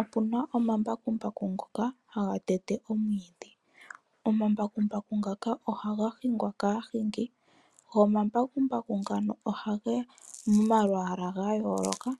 Okuna omambakumbaku ngoka haga tete omwiidhi. Omambakumbaku ngaka ohaga hingwa kaahingi, go omambakumbaku ngano ogeli momalwaala gayooloka.